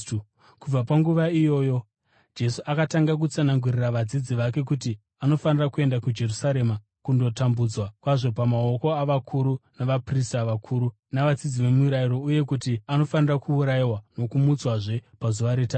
Kubva panguva iyoyo Jesu akatanga kutsanangurira vadzidzi vake kuti anofanira kuenda kuJerusarema kundotambudzwa kwazvo pamaoko avakuru navaprista vakuru navadzidzisi vemirayiro uye kuti anofanira kuurayiwa nokumutswazve pazuva retatu.